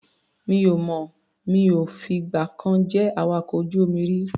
Mi ò mọ̀. Mi ò fìgbà kan jẹ́ awakọ̀ ojú-omi rí.